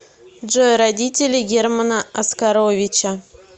джой родители германа оскаровича